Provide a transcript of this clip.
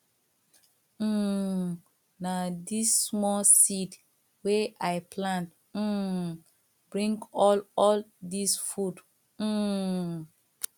um na dis small seed wey i plant um bring all all dis food um